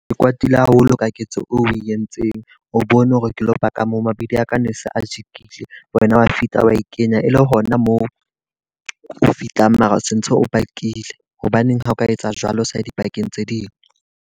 Ke kwatile haholo ka ketso e o e entseng. O bone hore ke lo park-a moo, mabidi a ka ne se a jikile. Wena wa fihla wa e kenya, e le hona moo fihlang mara se ntse o park-ile. Hobaneng ha o ka etsa jwalo o sa ye di-park-eng tse ding.